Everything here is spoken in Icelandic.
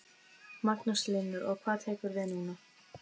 Magnús Hlynur: Og hvað tekur við núna?